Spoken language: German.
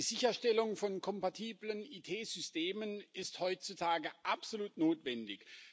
Die Sicherstellung von kompatiblen IT-Systemen ist heutzutage absolut notwendig.